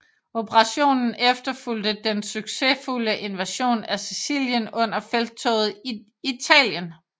Operationen efterfulgte den succesfulde invasion af Sicilien under Felttoget i Italien